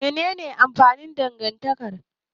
Menene amfanin dangantaka?